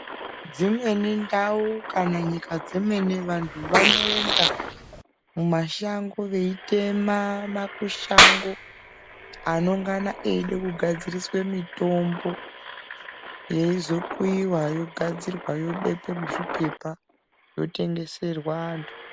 Dzimweni ndau kana nyika dzemene vantu vanoenda mumashango veitema makushango anongana eide kugadziriswe mitombo. Yeizokuyiwa yogadzirwa yobekwe muzviphepha, yotengeserwa antu.